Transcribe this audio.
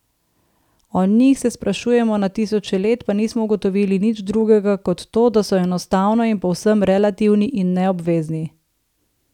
O njih se sprašujemo na tisoče let, pa nismo ugotovili nič drugega kot to, da so enostavno in povsem relativni in neobvezni.